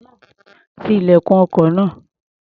Ti ilẹ̀kùn ọkọ̀ náà.